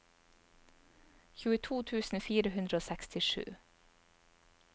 tjueto tusen fire hundre og sekstisju